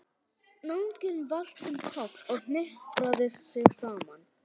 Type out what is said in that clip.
Náunginn valt um koll og hnipraði sig saman.